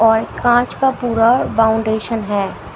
और कांच का पूरा बाउंडेशन है।